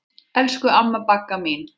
Elsku amma Bagga mín.